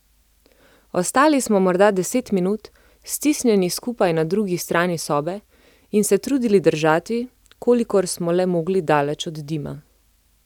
Ostali smo morda deset minut, stisnjeni skupaj na drugi strani sobe, in se trudili držati, kolikor smo le mogli daleč od dima.